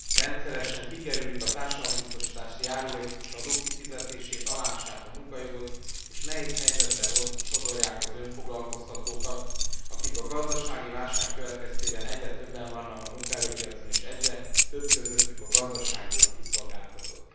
Rendszeresen kikerülik a társadalombiztosítási járulékok és adók kifizetését, aláássák a munkajogot és nehéz helyzetbe sodorják az önfoglalkoztatókat, akik a gazdasági válság következtében egyre többen vannak a munkaerőpiacon, és egyre több közöttük a gazdaságilag kiszolgáltatott.